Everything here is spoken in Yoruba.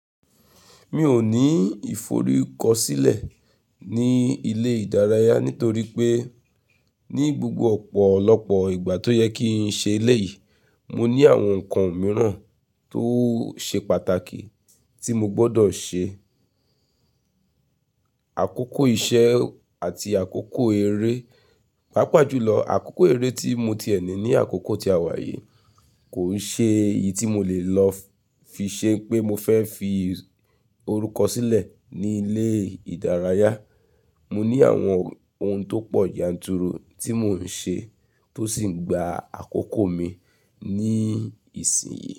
Mi ò ní ìforúkọsílẹ̀ ní ilé ìdárayá nítorí pé ní gbogbo ọ̀pọ̀lọpọ̀ ìgbà tó yẹ kí n ṣe eléyìí, mo ní àwọn nǹkan mìíràn tó ṣe pàtàkì tí mo gbọdọ̀ ṣe. Àkókò iṣẹ́ àti àkókò eré, pàápàá jùlọ àkókò eré tí mo tiẹ ni ní àkókò tí a wà yìí kò n ṣe iyí tí mo lè lọ fi ṣe pé mo fẹ́ fi orúkọ sílẹ̀ ní ilé ìdárayá. Mo ní àwọn ohun tó po yanturu tí mò ń ṣe tó sì ń gba àkókò mi ní ìsìn yìí.